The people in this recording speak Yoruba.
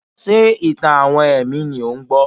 Ṣé ìtàn-àwọn ẹ̀mí ni ò ń gbọ́?